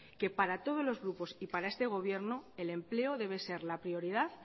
que para todos los grupos y para este gobierno el empleo debe ser la prioridad